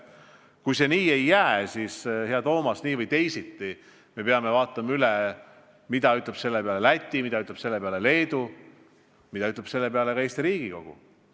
Kui see ei jää, siis, hea Toomas, nii või teisiti me peame kindlaks tegema, mida ütleb selle peale Läti, mida ütleb selle peale Leedu, mida ütleb selle peale ka Eesti Riigikogu.